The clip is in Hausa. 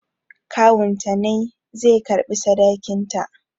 Kawunta ne zai karɓi sadakinta